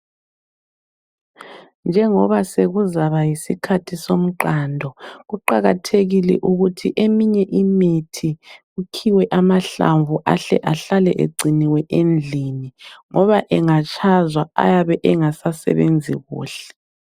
Njengoba sekuzaba yisikhathi somqando, kuqakathekile ukuthi eminye imithi kukhiwe amahlamvu ahle ahlale egciniwe endlini ngoba engatshazwa ayabe engasasebenzi kuhle.